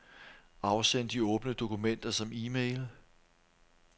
Afsend de åbne dokumenter som e-mail.